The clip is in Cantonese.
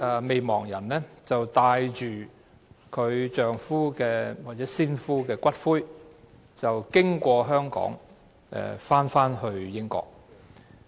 未亡人帶着先夫的骨灰經香港返回英國。